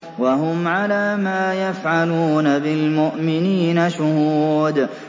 وَهُمْ عَلَىٰ مَا يَفْعَلُونَ بِالْمُؤْمِنِينَ شُهُودٌ